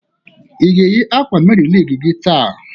I ga eyi akwa Meri Lig gị taa?